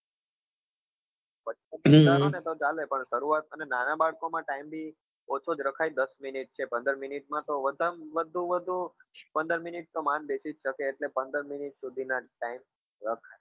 ઓછો રાખો ને તો ચાલે પણ શરૂઆત અને નાના બાળકો માં time બી ઓછો જ રખાય દસ minute કે પંદર minute માં તો વધારે માં વધુ માં વધુ પંદર minute તો માંડ બેસી જ શકે એટલે પંદર minute સુધી ના time રખાય